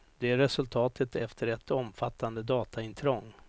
Det är resultatet efter ett omfattande dataintrång.